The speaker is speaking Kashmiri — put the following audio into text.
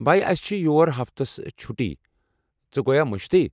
بھایہ، اَسہِ چھِ یور ہفتَس چھُٹی۔ ژےٚ گویا مٔشتھٕے؟